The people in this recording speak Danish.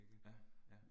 Ja, ja